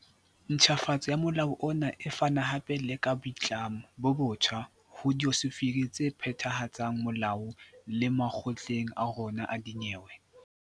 Ntjhafatso ya molao ona e fana hape le ka boitlamo bo botjha ho diofisiri tse phethahatsang molao le makgotleng a rona a dinyewe.